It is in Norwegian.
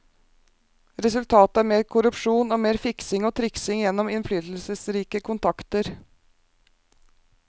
Resultatet er mer korrupsjon, og mer fiksing og triksing gjennom innflytelsesrike kontakter.